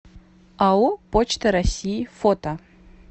ао почта россии фото